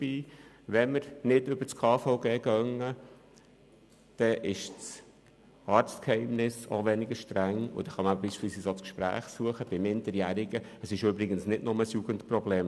Würde man es nicht über das KVG organisieren, wäre auch das Arztgeheimnis weniger streng und man könnte beispielsweise auch das Gespräch mit Minderjährigen suchen.